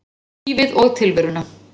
Lífið og tilveruna.